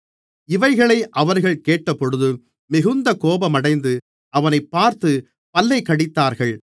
இவைகளை அவர்கள் கேட்டபொழுது மிகுந்த கோபமடைந்து அவனைப் பார்த்துப் பல்லைக் கடித்தார்கள்